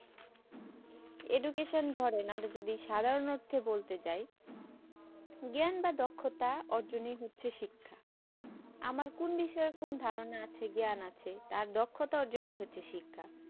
education ধরেন আমাদের সাধারণ অর্থে বলতে চাই জ্ঞান বা দক্ষতা অর্জন হচ্ছে শিক্ষা আমার কোন বিষয়ে কোন ধারণা আছে জ্ঞান আছে তার দক্ষতা অর্জন হচ্ছে শিক্ষা